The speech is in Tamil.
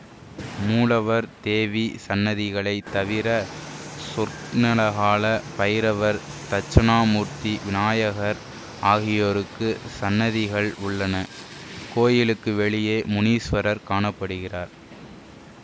மூலவர் தேவி சன்னதிகளைத் தவிர சொர்ணகால பைரவர் தட்சிணாமூர்த்தி விநாயகர் ஆகியோருக்கு சன்னதிகள் உள்ளன கோயிலுக்கு வெளியே முனீஸ்வரர் காண படுகிறார்